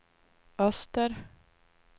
öster